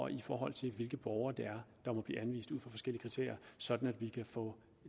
i forhold til hvilke borgere det er der må blive anvist ud fra forskellige kriterier sådan at vi kan få